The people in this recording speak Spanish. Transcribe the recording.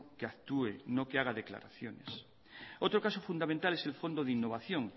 que actúe no que haga declaraciones otro caso fundamental es el fondo de innovación